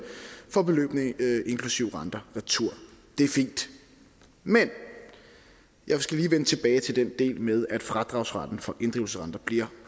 får beløbene inklusive renter retur det er fint men jeg skal lige vende tilbage til den del med at fradragsretten for inddrivelse af renter bliver